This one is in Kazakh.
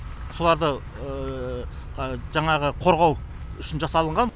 соларды жаңағы қорғау үшін жасалынған